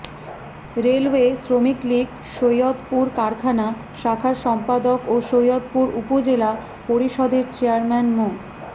railway শ্রমিক league Saidpur কারখানা শাখার সম্পাদক ও সৈয়দপুর উপজেলা পরিষদের চেয়ারম্যান মো